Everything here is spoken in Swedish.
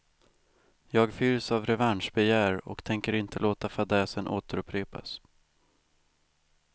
Jag fylls av revanschbegär och tänker inte låta fadäsen återupprepas.